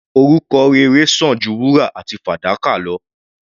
Orúkọ rere sàn ju wúrà àti fàdákà lọ.